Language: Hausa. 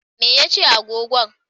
Me ya ce agogo?